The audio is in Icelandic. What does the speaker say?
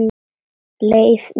Leið mín greið.